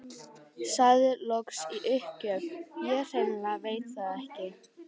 Sagði loks í uppgjöf: Ég hreinlega veit það ekki